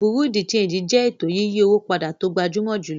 Bureau-de-Chanjí jẹ ètò yíyí owó pàdà tó gbàjúmọ̀ júlọ̀.